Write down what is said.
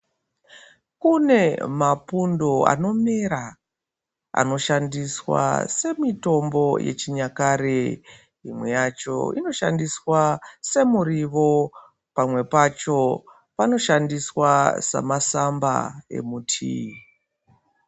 Kune mapundo anomera anoshandiswa semitombo yechinyakare. Imwe yacho inoshandiswa semurivo pamwe pacho panoshandiswa semasamba emutii.